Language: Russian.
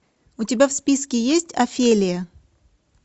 у тебя в списке есть офелия